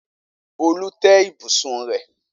Olú tẹ́ ibùsùn rẹ̀.